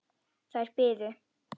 Þær biðu.